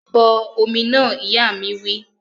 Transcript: Bọ omi náà! Ìyá mi wí